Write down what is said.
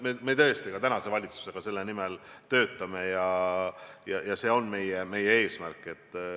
Me tõesti ka praeguse valitsusega selle nimel töötame, see on meie eesmärk.